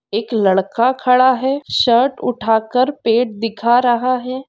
एक लड़का खड़ा है शर्ट उठा कर पेट दिखा रहा है।